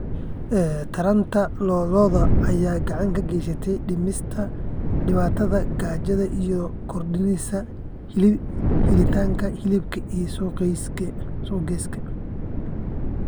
Taranta lo'da lo'da ayaa gacan ka geysatay dhimista dhibaatada gaajada iyadoo kordhinaysa helitaanka hilibka ee suuqyada.